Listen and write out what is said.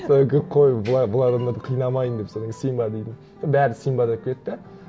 содан кейін қой былай былай адамдарды қинамайын деп содан кейін симба деймін сол бәрі симба деп кетті